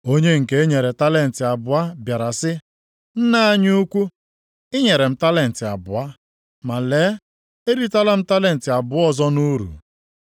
“Onye nke e nyere talenti abụọ bịara sị, ‘Nna anyị ukwu, i nyere m talenti abụọ, ma lee, eritala m talenti abụọ ọzọ nʼuru.’